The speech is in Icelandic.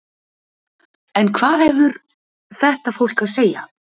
En hvað hefur þetta fólk að segja?